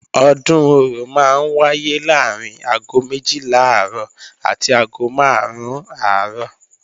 Ọdún Orò máa ń wáyé láàrín aago méjìlá àárọ̀ àti aago máàrún àárọ̀